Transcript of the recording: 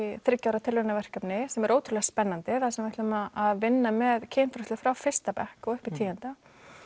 þriggja ára tilraunaverkefni sem er ótrúlega spennandi þar sem við ætlum að vinna með kynfræðslu frá fyrsta bekk og upp í tíunda